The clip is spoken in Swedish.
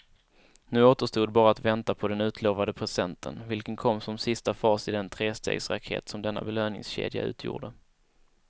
Nu återstod bara att vänta på den utlovade presenten, vilken kom som sista fas i den trestegsraket som denna belöningskedja utgjorde.